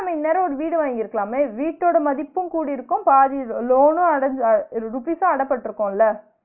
நம்ம இந்நேரோ ஒரு வீடு வாங்கியிருக்கலாமே? வீட்டோட மதிப்பும் கூடியிருக்கும் பாதி loan னு அடைஞ்ச அஹ் rupees ம் அடபட்டுருக்கும்ல